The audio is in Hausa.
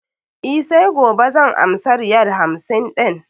E, sai gobe zan amsa riyal hamsin ɗin.